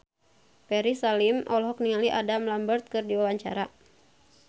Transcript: Ferry Salim olohok ningali Adam Lambert keur diwawancara